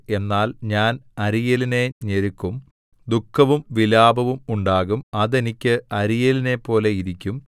എന്നാൽ ഞാൻ അരീയേലിനെ ഞെരുക്കും ദുഃഖവും വിലാപവും ഉണ്ടാകും അത് എനിക്ക് അരീയേലിനെപോലെ ഇരിക്കും